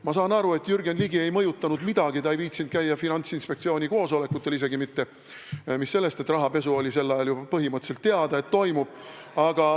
Ma saan aru, et Jürgen Ligi ei mõjutanud midagi, ta ei viitsinud käia isegi mitte Finantsinspektsiooni koosolekutel, mis sellest, et sel ajal oli juba põhimõtteliselt teada, et rahapesu toimub.